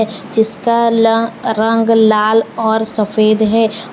जीसका रंग लाल और सफेद है।